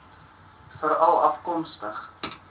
veralafkomstig